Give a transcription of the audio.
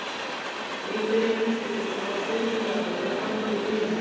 Viktoría Jónsdóttir lagði tólið á og fann fyrir unaði.